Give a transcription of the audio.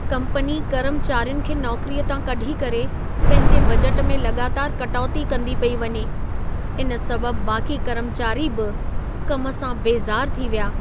Company कर्मचारियुनि खे नौकरीअ तां कढी करे पंहिंजे बजट में लॻातारि कटौती कंदी पेई वञे। इन सबबि बाक़ी कर्मचारी बि कम सां बेज़ारु थी विया।